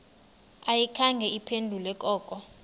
ayikhange iphendule koko